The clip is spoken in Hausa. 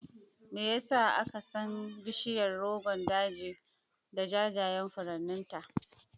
Me ya sa aka san bishiyar Rogon Daji da jajayen furanninta?